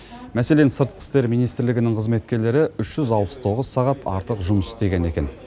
мәселен сыртқы істер министрлігінің қызметкерлері үш жүз алпыс тоғыз сағат артық жұмыс істеген екен